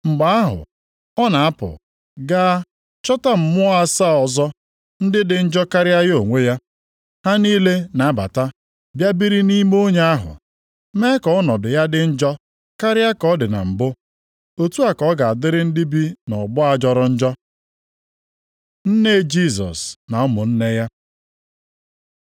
Mgbe ahụ, ọ na-apụ gaa chọta mmụọ asaa ọzọ, ndị dị njọ karịa ya onwe ya. Ha niile na-abata bịa biri nʼime onye ahụ. Mee ka ọnọdụ ya dị njọ karịa ka ọ dị na mbụ. Otu a ka ọ ga-adịrị ndị bi nʼọgbọ a jọrọ njọ.” Nne Jisọs na ụmụnne ya